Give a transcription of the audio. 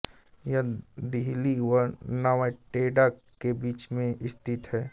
यह दिहुली व नवाटेड़ा के बीच में स्थित है